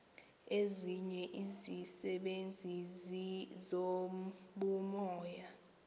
nezinye izisebenzi zobumoya